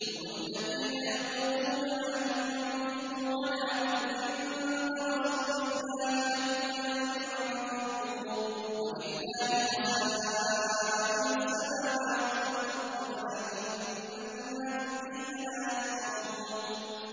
هُمُ الَّذِينَ يَقُولُونَ لَا تُنفِقُوا عَلَىٰ مَنْ عِندَ رَسُولِ اللَّهِ حَتَّىٰ يَنفَضُّوا ۗ وَلِلَّهِ خَزَائِنُ السَّمَاوَاتِ وَالْأَرْضِ وَلَٰكِنَّ الْمُنَافِقِينَ لَا يَفْقَهُونَ